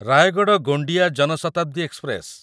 Rayagada Gondia Jan Shatabdi express